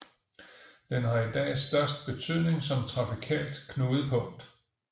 Den har i dag størst betydning som trafikalt knudepunkt